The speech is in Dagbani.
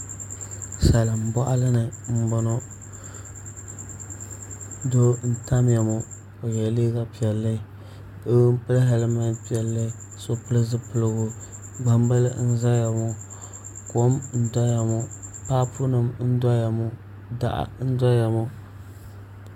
Salin boɣali ni n boŋo doo n tamya ŋo o yɛ liiga piɛlli doo n pili hɛlmɛnti piɛlli ka so pili zipiligu gbambili n ʒɛya ŋo kom n doya ŋo paapu nim n doya ŋo daɣu n doya ŋo